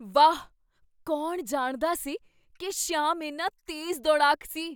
ਵਾਹ! ਕੌਣ ਜਾਣਦਾ ਸੀ ਕੀ ਸ਼ਾਮ ਇੰਨਾ ਤੇਜ਼ ਦੌੜਾਕ ਸੀ?